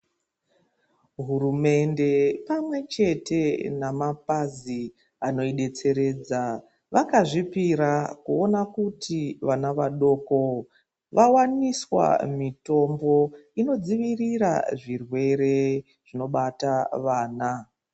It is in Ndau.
Hurumende pamwechete namapazi anoidetseredza vakazvipira kuona kuti vana vadoko vawaniswa mitombo inodzivirira zvirwere zvinobata vana.